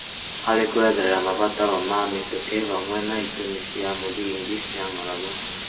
Harĩ kũethere mabataro ma mĩtũkĩ hamwe na itũmi cia mũthingi cia ng'aragu,